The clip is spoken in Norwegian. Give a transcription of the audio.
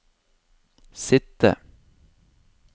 sitte